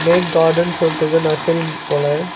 Make கார்டனு சொல்லிட்டு எதோ நர்சரி போல.